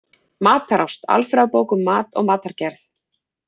Matarást: alfræðibók um mat og matargerð.